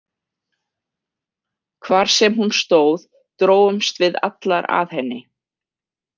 Hvar sem hún stóð drógumst við allar að henni.